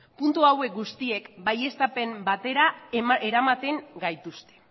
puntu hauek guztiek baieztapen batera eramaten gaituzte